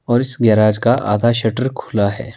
और इस गैरेज का आधा शटर खुला हुआ है।